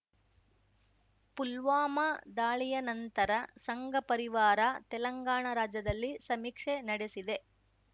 ಪುಲ್ವಾಮಾ ದಾಳಿಯ ನಂತರ ಸಂಘ ಪರಿವಾರ ತೆಲಂಗಾಣ ರಾಜ್ಯದಲ್ಲಿ ಸಮೀಕ್ಷೆ ನಡೆಸಿದೆ